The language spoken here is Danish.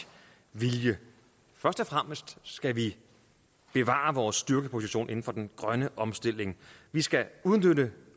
vilje først og fremmest skal vi bevare vores styrkede position inden for den grønne omstilling vi skal udnytte